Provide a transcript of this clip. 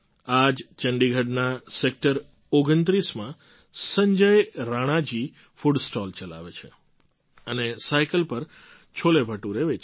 આ જ ચંડીગઢના સૅક્ટર ૨૯માં સંજય રાણા જી food stall ચલાવે છે અને સાઇકલ પર છોલેભટુરે વેચે છે